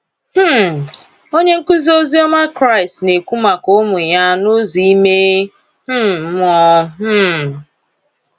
um Onye nkụzi ozioma Kraịst na ekwu maka ụmụ ya n’ụzọ ime um mmụọ. um